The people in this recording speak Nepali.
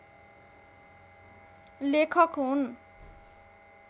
लेखक हुन्।